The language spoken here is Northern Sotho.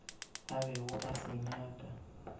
a bego a se nyaka